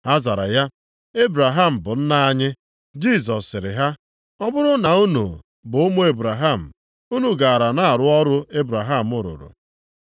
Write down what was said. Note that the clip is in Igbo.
Ha zara ya, “Ebraham bụ nna anyị.” Jisọs sịrị ha, “Ọ bụrụ na unu bụ ụmụ Ebraham, unu gara na-arụ ọrụ Ebraham rụrụ.